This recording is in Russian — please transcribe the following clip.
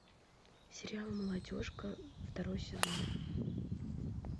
сериал молодежка второй сезон